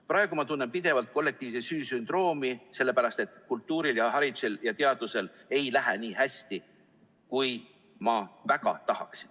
Praegu ma tunnen pidevalt kollektiivse süü sündroomi, sest kultuuril, haridusel ja teadusel ei lähe nii hästi, kui ma väga tahaksin.